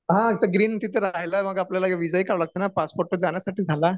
हा ते ग्रीन तिथे राहायला मग आपल्याला व्हिसा ही काढावा लागतो ना, पासपोर्ट तर जाण्यासाठी झाला